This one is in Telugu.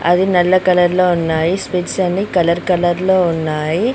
అది నల్ల కలర్ లో ఉన్నాయి స్పెక్ట్ అన్ని కలర్ కలర్ లో ఉన్నాయి.